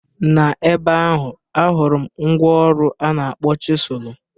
Na ebe ahụ ahụrụ m mgwa ọrụ a na-akpọ chịsụlụ.